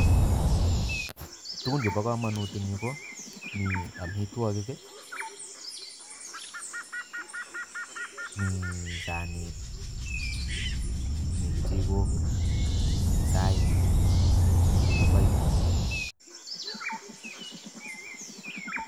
Tugun chebo komonut en yu komiten amitwogiik, mi saniit ,mi kechikoik, mi chupook